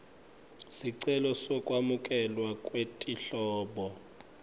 sicelo sekwamukelwa kwetinhlobo